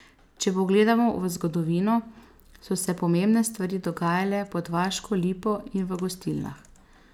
Če pogledamo v zgodovino, so se pomembne stvari dogajale pod vaško lipo in v gostilnah.